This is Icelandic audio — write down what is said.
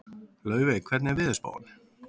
Laufey, hvernig er veðurspáin?